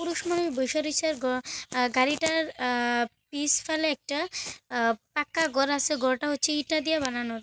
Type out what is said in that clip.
পুরুষ মানুষ বইসা রয়েছে গ আর গাড়িটার অ্যা পিছ ফালে একটা অ্যা পাক্কা ঘর আসে ঘরটা হচ্ছে ইটা দিয়ে বানানোর।